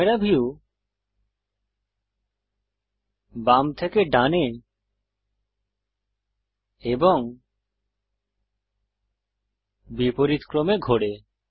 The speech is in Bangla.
ক্যামেরা ভিউ বাম থেকে ডানে এবং বিপরীতক্রমে ঘোরে